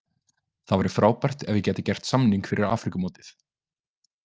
Það væri frábært ef ég get gert samning fyrir Afríkumótið.